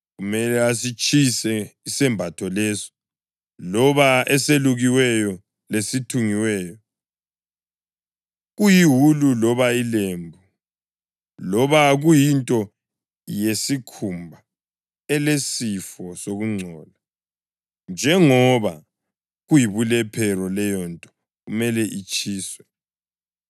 Kumele asitshise isembatho leso, loba eselukiweyo lesithungiweyo, kuyiwulu loba ilembu, loba kuyinto yesikhumba elesifo sokungcola, njengoba kuyibulephero; leyonto kumele itshiswe.